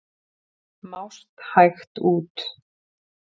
Mást hægt út.